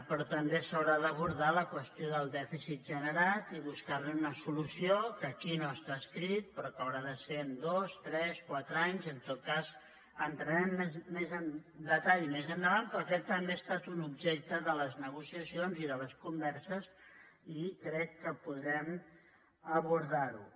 però també s’haurà d’abordar la qüestió del dèficit generat i bus·car·hi una solució que aquí no està escrit però que haurà de ser en dos tres quatre anys en tot cas hi en·trarem més en detall més endavant però aquest també ha estat un objecte de les negociacions i de les con·verses i crec que podrem abordar·ho